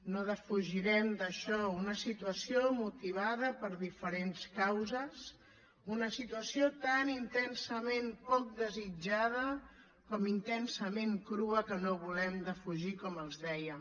no defugirem això una situació motivada per diferents causes una situació tan intensament poc desitjada com intensament crua que no volem defugir com els deia